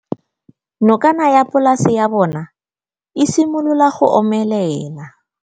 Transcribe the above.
Nokana ya polase ya bona, e simolola go omelela.